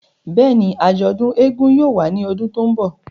Bẹ́ẹ̀ni, ajọdun éégún yóò wa ni ọdun to nbọ.